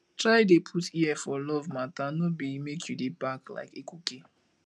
try dey put ear for luv mata no bi mek yu dey bark like ekuke